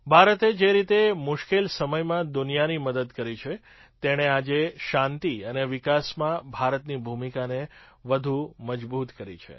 ભારતે જે રીતે મુશ્કેલ સમયમાં દુનિયાની મદદ કરી તેણે આજે શાંતિ અને વિકાસમાં ભારતની ભૂમિકાને વધુ મજબૂત કરી છે